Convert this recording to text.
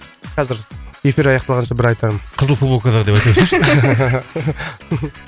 қазір эфир аяқталғанша бір айтармын қызыл футболкада деп айтайықшы